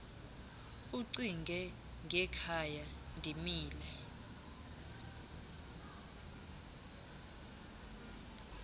ucinge ngekhaya ndimile